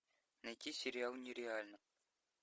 найти сериал нереально